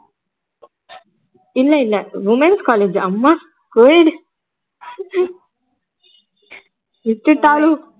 இல்ல இல்ல womens college அம்மா co ed விட்டுட்டாலும்